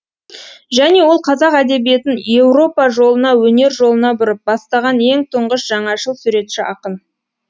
және ол қазақ әдебиетін еуропа жолына өнер жолына бұрып бастаған ең тұңғыш жаңашыл суретші ақын